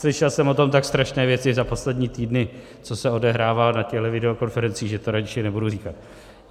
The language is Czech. Slyšel jsem o tom tak strašné věci za poslední týdny, co se odehrává na těchto videokonferencích, že to radši nebudu říkat.